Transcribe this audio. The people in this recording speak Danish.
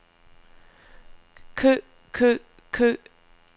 kø kø kø